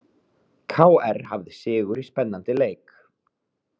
KR hafði sigur í spennandi leik